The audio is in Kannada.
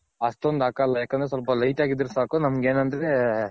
ಅಷ್ಟೊಂದ್ ಹಾಕಲ್ಲ ಯಾಕಂದ್ರೆ ಸ್ವಲ್ಪ light ಆಗಿದ್ರೆ ಸಾಕು ನಮ್ಗ್ ಏನಂದ್ರೆ